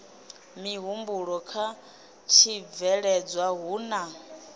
mihumbulo kha tshibveledzwa hu na